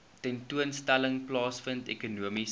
tentoonstelling plaasvind ekonomiese